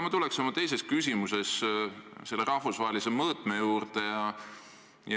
Ma tulengi oma teises küsimuses selle rahvusvahelise mõõtme juurde.